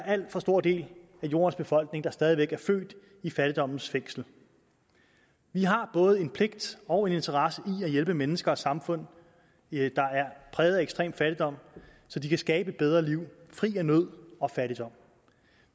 alt for stor del af jordens befolkning der stadig væk er født i fattigdommens fængsel vi har både en pligt og en interesse i at hjælpe mennesker og samfund der er præget af ekstrem fattigdom så de kan skabe et bedre liv fri af nød og fattigdom